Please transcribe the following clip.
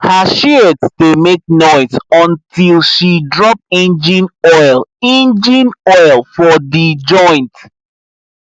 her shears dey make noise until she drop engine oil engine oil for the joint